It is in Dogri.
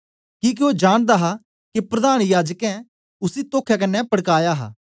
किके ओ जानदा हा के प्रधान याजकें ने उसी तोखे कन्ने पड़काया हां